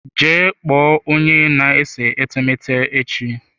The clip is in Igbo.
Gaa kpọọ onye na-ese etemeete echi!